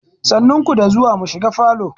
Sannu ku da zuwa, mu shiga falo.